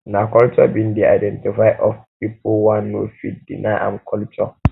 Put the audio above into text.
na culture been de identity of people one no fit deny im culture